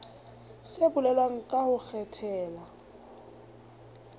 se bolelwang ka ho kgethela